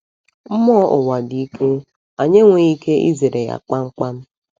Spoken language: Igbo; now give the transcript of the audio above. Mmụọ ụwa dị ike, anyị enweghị ike izere ya kpamkpam.